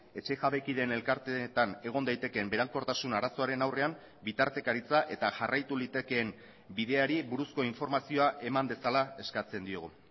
etxe jabekideen elkarteetan egon daitekeen berankortasun arazoaren aurrean bitartekaritza eta jarraitu litekeen bideari buruzko informazioa eman dezala eskatzen diogu